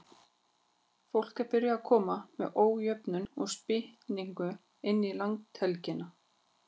Fólk er byrjað að koma með ójöfnum spýtingum inn í landhelgina.